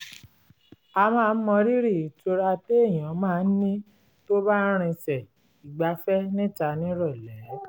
a máa ń mọrírí ìtura téèyàn máa ń ní tó bá ń rinsẹ̀ ìgbafẹ́ níta nírọ̀lẹ́